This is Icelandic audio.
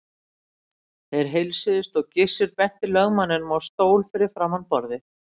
Þeir heilsuðust og Gizur benti lögmanninum á stól fyrir framan borðið.